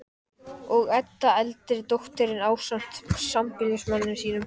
Og Edda, eldri dóttirin, ásamt sambýlismanni sínum